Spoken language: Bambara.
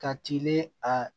Ka tilen a